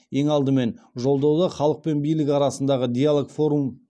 ең алдымен жолдауда халық пен билік арасындағы диалог форум